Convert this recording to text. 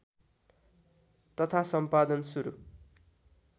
तथा सम्पादन सुरू